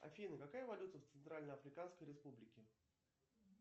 афина какая валюта в центральноафриканской республике